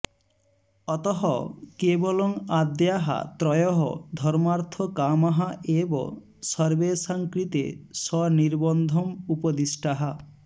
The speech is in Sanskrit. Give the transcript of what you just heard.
अतः केवलम् आद्याः त्रयः धर्मार्थकामाः एव सर्वेषां कृते सनिर्बन्धम् उपदिष्टाः